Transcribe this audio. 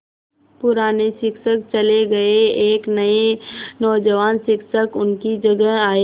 पुराने शिक्षक चले गये एक नये नौजवान शिक्षक उनकी जगह आये